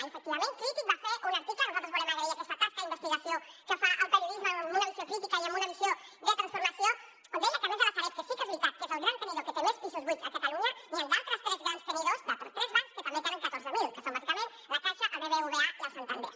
i efectivament crític va fer un article nosaltres volem agrair aquesta tasca d’investigació que fa el periodisme amb una visió crítica i amb una visió de transformació on deia que a més de la sareb que sí que és veritat que és el gran tenidor que té més pisos buits a catalunya hi han d’altres tres grans tenidors d’altres tres bancs que també en tenen catorze mil que són bàsicament la caixa el bbva i el santander